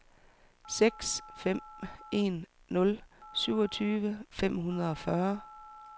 seks fem en nul syvogtyve fem hundrede og fyrre